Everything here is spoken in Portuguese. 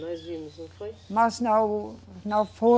Nós vimos, não foi? Mas não, não foi